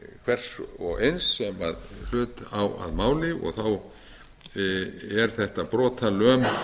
hvers og eins sem hlut á að máli þá er þetta brotalöm